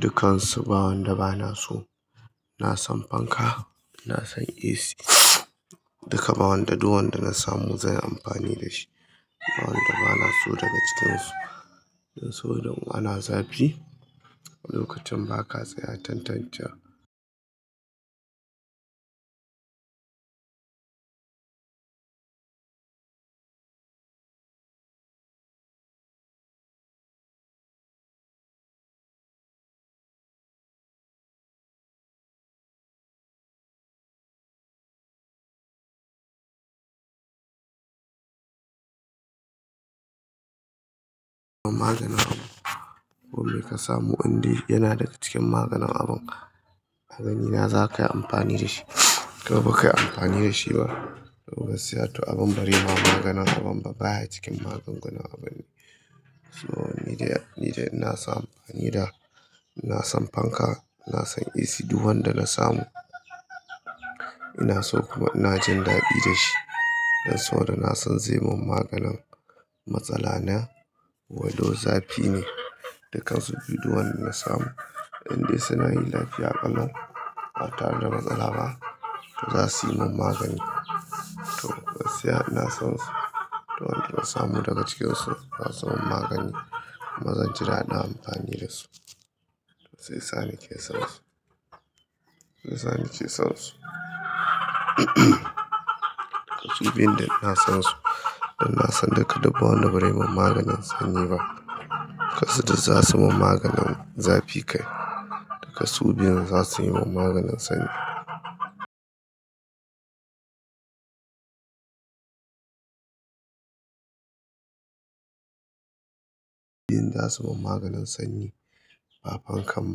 Dukansu ba wanda bana so. iNa san fanka, ina san isi duka, ba wanda. Duk wanda na samu zanyi amfani da shi. Ba wanda bana so daga cikinsu. Dan sau da mun a na zafi, lokacin ba ka tsaya tantancewa. Maganin abun me ka samu in dai yana daga cikin maganin abun ka. A ganina za ka yi amfani da shi ko ba ka yi amfani da shi ba. To gaskiya to abin bari ma magana sabon ba baya cikin magunguna abun. To ni dai ina so na yi amfani da. Ina san fanka, ina san isi duk wanda na samu. Ina so kuma ina jin dadi da shi. Dan sau da na san zai mun maganin matsala na. Walau zafi ne, dukansu bi duwanda na samu. In dai suna yi lafiya ƙalau ba tare da matsala ba, to za su yi min magani. To gaskiya ina son su. To wanda na samu daga cikinsu za su mun magani. Maza jira ada amfani da su. To shi yasa nike son su. Shi yasa nake son su. Su biyun dai ina son su. Dan ina son duka duk ba wanda barai mun maganin sanyi ba. Duk kansu za su mun maganin zafi kai. Duka su biyun za su yi mun maganin sanyi. Inda su mun maganin sanyi. Ba fankan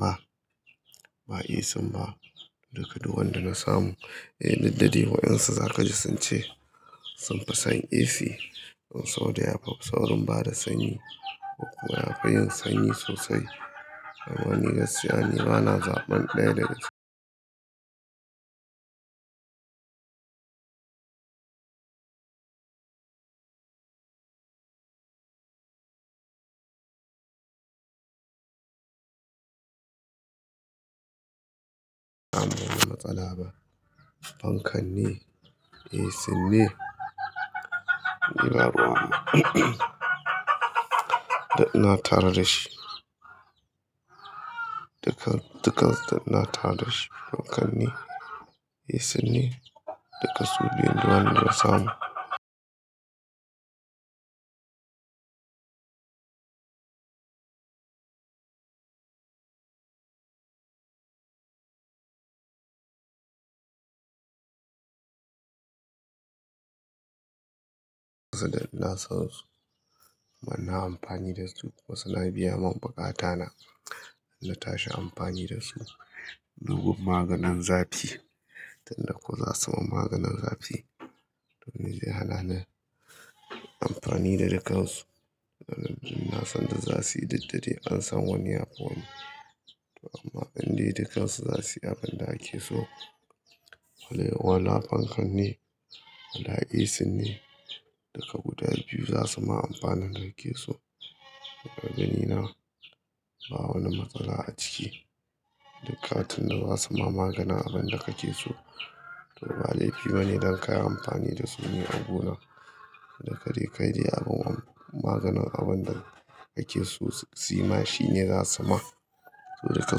ba, ba ACn ba. Duka duk wanda na samu. Eh, daddare waƴan su zaka ji sun ce sun fi san AC. Saboda ya fi saurin bada sanyi. Kuma yafi yin sanyi sosai. Amma ni gaskiya ni bana zaɓan ɗaya daga su. Amma wani matsala ba. Fankan ne, ACn ne. Da ina tare da shi. Dukan, dukan da ina tare da shi. Fankan ne, isin ne. Duka su biyun duk wanda na samu. Na son su amma na yi amfani da su. Wasu na biya mun bukata na. Dan na tashi amfani da su. Dubin maganin zafi, to in dai ku za su mun maganin zafi. To mi zai hana ni amfani da dukansu. Na san duk za su yi didda dai an san wani ya fi wani. Amma in dai dukansu za su yi abin da ake so. Wali wala fankan ne wala isin ne. Duka guda biyu za su ma amfanin da ake so. A ganina ba wani matsala a ciki. Dukatin da za su ma maganin abin da kake so. To bada laifi bane don ka yi amfani da su ne abuna. Du ka dai kai dai abu buwa maganin abun da kake su yi ma shine za su ma. To daga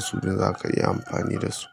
su biyun za ka iya amfani da su.